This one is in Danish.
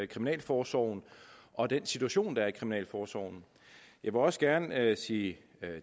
kriminalforsorgen og den situation der er i kriminalforsorgen jeg vil også gerne sige